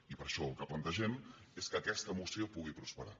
i per això el que plantegem és que aquesta moció pugui prosperar